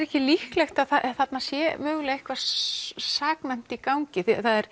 ekki líklegt að þarna sé eitthvað saknæmt í gangi